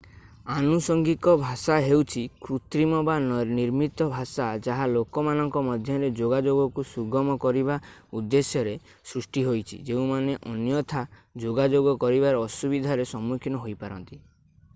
ଆନୁସଙ୍ଗିକ ଭାଷା ହେଉଛି କୃତ୍ରିମ ବା ନିର୍ମିତ ଭାଷା ଯାହା ଲୋକମାନଙ୍କ ମଧ୍ୟରେ ଯୋଗାଯୋଗକୁ ସୁଗମ କରିବା ଉଦ୍ଦେଶ୍ୟରେ ସୃଷ୍ଟି ହୋଇଛି ଯେଉଁମାନେ ଅନ୍ୟଥା ଯୋଗାଯୋଗ କରିବାରେ ଅସୁବିଧାର ସମ୍ମୁଖୀନ ହୋଇପାରନ୍ତି